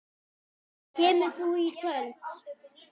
Kemur þú í kvöld?